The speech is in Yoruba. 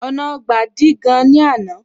Ọ̀nà Ọgbà dí gan ní àná